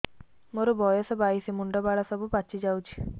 ମୋର ବୟସ ବାଇଶି ମୁଣ୍ଡ ବାଳ ସବୁ ପାଛି ଯାଉଛି